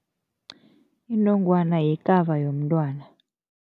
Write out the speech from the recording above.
Inongwana yikaba yomntwana.